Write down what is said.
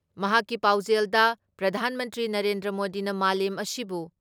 ꯃꯍꯥꯛꯀꯤ ꯄꯥꯎꯖꯦꯜꯗ ꯄ꯭ꯔꯙꯥꯟ ꯃꯟꯇ꯭ꯔꯤ ꯅꯔꯦꯟꯗ꯭ꯔ ꯃꯣꯗꯤꯅ ꯃꯥꯂꯦꯝ ꯑꯁꯤꯕꯨ